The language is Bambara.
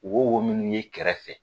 Won won minnu ye kɛrɛ fɛ.